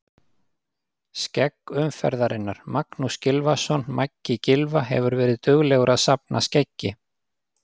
Skegg umferðarinnar: Magnús Gylfason Maggi Gylfa hefur verið duglegur að safna skeggi.